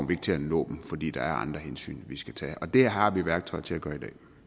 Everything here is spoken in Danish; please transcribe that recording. vi ikke til at nå dem fordi der er andre hensyn vi skal tage og det har vi værktøjet til at gøre